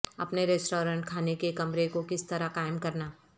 اپنے ریسٹورانٹ کھانے کے کمرے کو کس طرح قائم کرنا